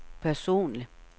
personlig